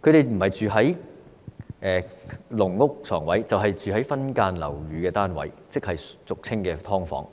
不是居住於"籠屋"床位，便是分間樓宇單位，即俗稱"劏房"。